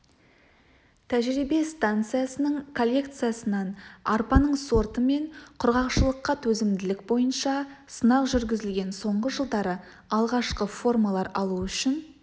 тәжірибе станциясының коллекциясынан арпаның сортымен құрғақшылыққа төзімділік бойынша сынақ жүргізген соңғы жылдары алғашқы формалар алу үшін